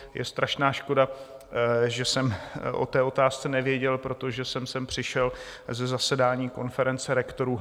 Je strašná škoda, že jsem o té otázce nevěděl, protože jsem sem přišel ze zasedání konference rektorů.